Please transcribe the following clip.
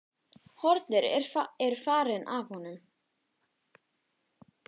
Hornin eru farin af honum.